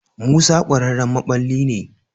Musa ƙwararren maɓalli ne.